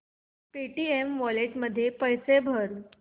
Paytm wallet मध्ये पैसे भर